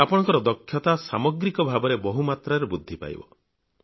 ଆପଣଙ୍କ ଦକ୍ଷତା ସାମଗ୍ରିକ ଭାବରେ ବହୁମାତ୍ରାରେ ବୃଦ୍ଧି ପାଇବ